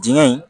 Dingɛ in